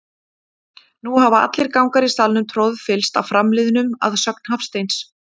Nú hafa allir gangar í salnum troðfyllst af framliðnum, að sögn Hafsteins.